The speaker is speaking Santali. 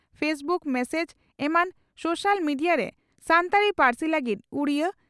ᱯᱷᱮᱥᱵᱩᱠ ᱢᱮᱥᱮᱡᱽ ᱮᱢᱟᱱ ᱥᱳᱥᱤᱭᱟᱞ ᱢᱮᱰᱤᱭᱟᱨᱮ ᱥᱟᱱᱛᱟᱲᱤ ᱯᱟᱹᱨᱥᱤ ᱞᱟᱹᱜᱤᱫ ᱩᱰᱤᱭᱟᱹ